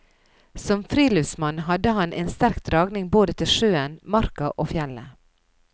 Som friluftsmann hadde han en sterk dragning både til sjøen, marka og fjellet.